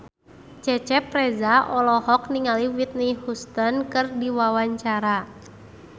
Cecep Reza olohok ningali Whitney Houston keur diwawancara